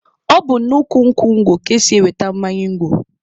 Ọ bụ n'ukwu nkwụ ngwọ ka e si enweta mmanya ngwọ.